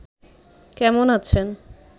কেমন আছেন